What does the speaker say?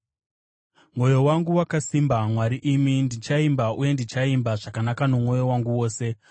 Mwoyo wangu wakasimba, Mwari imi; ndichaimba uye ndichaimba zvakanaka nomwoyo wangu wose.